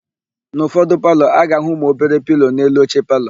N'ụfọdụ palọ, a ga-áhụ̀ ụmụobere pilo n'elu oche palọ.